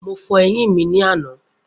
Mo fọ eyín mi ní àná.